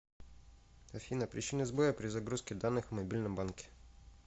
афина причины сбоя при загрузке данных в мобильном банке